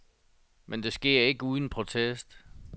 Men det sker ikke uden protest.